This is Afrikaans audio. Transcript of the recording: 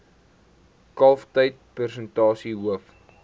kalftyd persentasie hoof